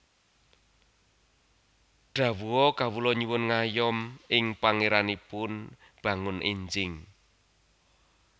Dhawuha Kawula nyuwun ngayom ing Pangéranipun bangun énjing